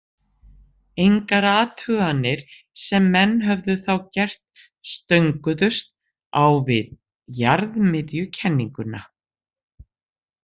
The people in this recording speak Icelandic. Engar athuganir sem menn höfðu þá gert stönguðust á við jarðmiðjukenninguna.